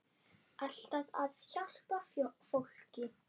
Alltaf að hjálpa fólki.